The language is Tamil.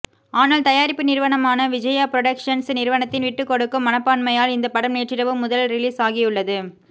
ஆனால் தயாரிப்பு நிறுவனமான விஜயா புரடொக்சன்ஸ் நிறுவனத்தின் விட்டுக்கொடுக்கும் மனப்பான்மையால் இந்த படம் நேற்றிரவு முதல் ரிலீஸ் ஆகியுள்ளது